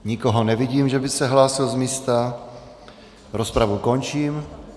Nikoho nevidím, že by se hlásil z místa, rozpravu končím.